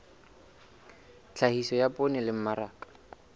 tlhahiso ya poone le mmaraka